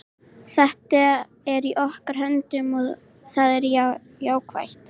Þetta er í okkar höndum og það er jákvætt.